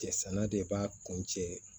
Cɛ sanna de b'a kun cɛ